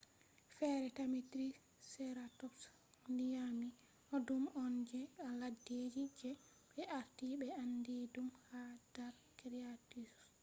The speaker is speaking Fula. fere scientists tammi triceratops nyami cycads dume on je leddeji je be arti be andi dum ha dar cretaceous